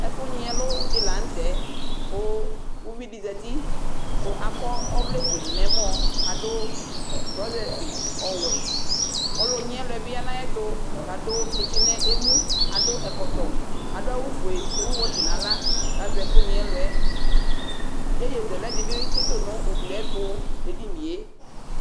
Ɛfʊnyɩ ɛlʊdɩ lanʊtɛ kʊ ʊvɩdɩ zatɩ kʊ akɔ ɔvlɛdɩ nʊ ɛmɔ adʊ trɔsɛsɩ ɔwɛ ɔlʊnyɩ ɛlʊyɛ nʊ ayɩɛtʊ kʊ adʊ tsɩtsɩbɩ nʊ emʊ adʊ ɔkɔtɔ adʊ awʊfuɛ ewʊ wɛtsɩ nʊ axla kʊ azɛ ɛkʊnyɩ ɛlʊɛ yeye zɛlɛ dɩbɩ tsɩtʊ nʊ ʊglɩ yɛtʊ nʊ edɩnɩe